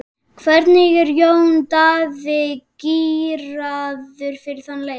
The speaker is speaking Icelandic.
Hvernig er Jón Daði gíraður fyrir þann leik?